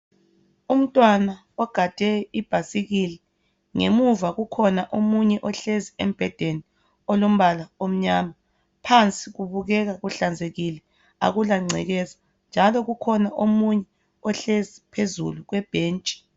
umntwana ogade ibhasikili ngemuva kukhona omunye ohlezi embhedeni olombala omnyama phansi kubukeka kuhlanzekile akula ncekeza njalo kukhona omunye ohlezi phezulu kwebhentshi